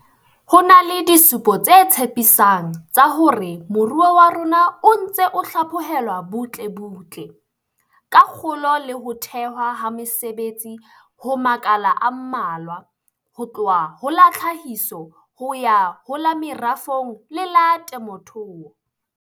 Ho na le disupo tse tshepi sang tsa hore moruo wa rona o ntse o hlaphohelwa butlebutle, ka kgolo le ho thehwa ha mesebetsi ho makala a mmalwa, ho tloha ho la tlhahiso ho ya ho la merafong le la temothuo.